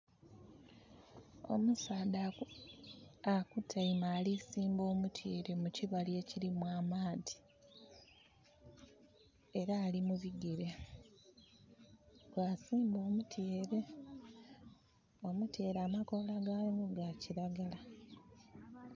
Omusaadha akutaime ali kusimba omutyeere mukibali ekirimu amaadhi, era ali mubigere bwa simba omutyeere. Omutyeere amakola ga gwo ga kilagala.